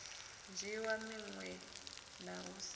dzhiiwa minwe na u sa